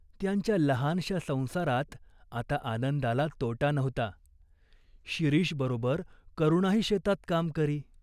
त्यांच्या लहानशा संसारात आता आनंदाला तोटा नव्हता शिरीषबरोबर करुणाही शेतात काम करी.